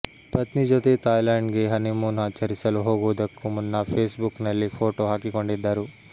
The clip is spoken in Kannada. ಪತ್ನಿ ಜೊತೆ ಥೈಲ್ಯಾಂಡ್ ಗೆ ಹನಿಮೂನ್ ಆಚರಿಸಲು ಹೋಗುವುದಕ್ಕೂ ಮುನ್ನ ಫೇಸ್ ಬುಕ್ ನಲ್ಲಿ ಫೋಟೋ ಹಾಕಿಕೊಂಡಿದ್ದರು